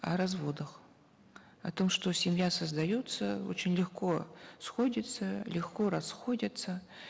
о разводах о том что семья создается очень легко сходятся легко расходятся